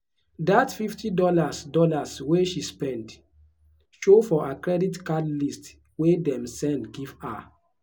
that fifty dollars dollars wey she spend show for her credit card list wey dem send give her.